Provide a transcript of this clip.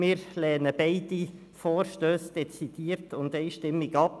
Wir lehnen beide Vorstösse dezidiert und einstimmig ab.